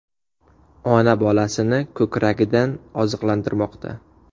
Ona bolasini ko‘kragidan oziqlantirmoqda.